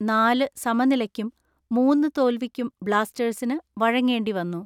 നാല് സമനിലക്കും മൂന്ന് തോൽവിക്കും ബ്ലാസ്റ്റേഴ്സിന് വഴങ്ങേണ്ടി വന്നു.